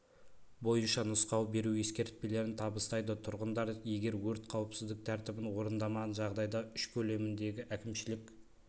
бойынша нұсқау беру ескертпелерін табыстайды тұрғындар егер өрт қауіпсіздік тәртібін орындамаған жағдайда үш көлеміндегі әкімшілік